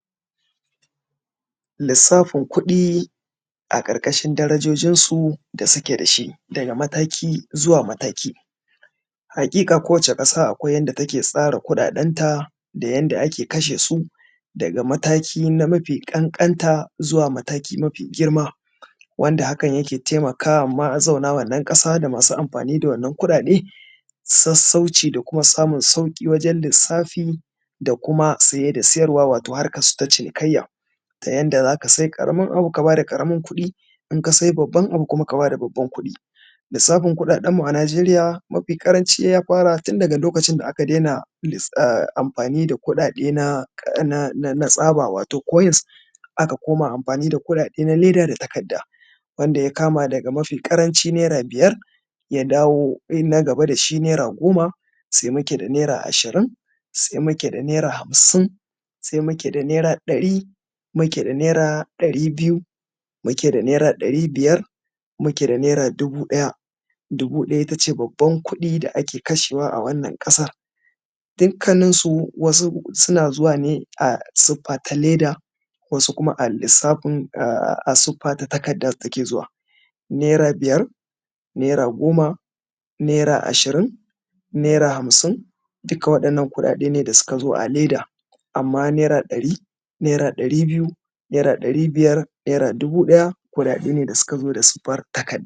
lissafin kuɗi a ƙarƙashin darajojinsu da suke da shi daga mataki zuwa mataki haƙiƙa kowacce ƙasa akwai yadda take tsara kuɗaɗenta da yanda ake kashe su daga mataki na mafi ƙanƙanta zuwa mataki mafi girma wanda hakan yake taimaka ma mazauna wannan ƙasa da masu amfani da wannan kuɗaɗe sassauci da kuma samun sauƙi wajan lissafin da kuma siye da siyarwa wato harkan su ta cinikayya ta yanda za ka sai karamin abu ka ba da ƙaramar kuɗi in ka sai babban abu kuma ka ba da babban kuɗi lissafin kuɗaɗen mu a najeriya mafi ƙaranci ya fara tun daga lokacin da aka daina amfani da kuɗaɗe na tsaba wato koyans aka koma amfani da kuɗaɗen leda da kuma takarda wanda ya kama daga mafi ƙaranci naira biyar ya dawo bin na gaba da shi naira goma sai muke da naira ishirin sai muke da naira hamsin sai muke da naira ɗari muke da naira ɗari biyu muke da naira ɗari biyar muke da naira dubu ɗaya dubu ɗaya ita ce babban kuɗi da ake kashewa a wannan ƙasar dukkanninsu wasu suna zuwa ne a suffa ta leda wasu kuma a lissafin a suffa ta takarda yake zuwa naira biyar naira goma naira ashirin naira hamsin duka waɗannan kuɗaɗe ne da su ka zo a leda amman naira ɗari naira ɗari biyu naira ɗari biyar naira dubu ɗaya kuɗaɗe ne da suka zo da suffar takadda